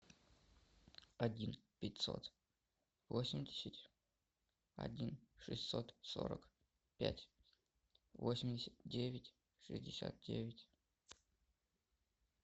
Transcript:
один пятьсот восемьдесят один шестьсот сорок пять восемьдесят девять шестьдесят девять